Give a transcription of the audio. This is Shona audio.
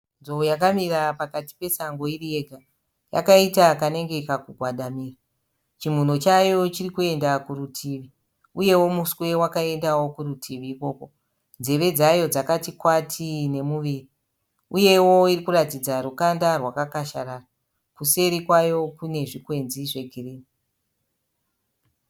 Nzou yakamira pakati pesango iri yega yakaita kanenge kakugwadamira, chimhuno chaiyo chirikuenda kurutivi uyewo muswe wakaendawo kuritivi ikoko. Nzeve dzayo dzakati kwati nemuviri uyewo irikuratidza rukanda rwakakasharara. Kuseri kwayo kune zvikwenzi zvegirinhi.